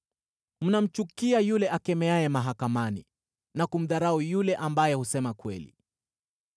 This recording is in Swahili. mnamchukia yule akemeaye mahakamani, na kumdharau yule ambaye husema kweli.